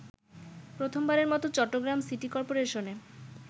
প্রথমবারের মত চট্টগ্রাম সিটিকরপোরেশনে